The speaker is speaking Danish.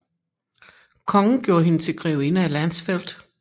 Kongen gjorde hende til grevinde af Landsfeld